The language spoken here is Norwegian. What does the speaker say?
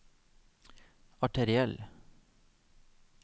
arteriell